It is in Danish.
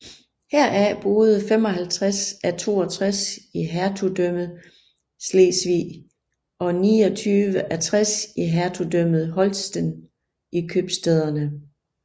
Heraf boede 55 af 62 i Hertugdømmet Slesvig og 29 af 60 i Hertugdømmet Holsten i købstæderne